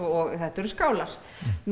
og þetta eru skálar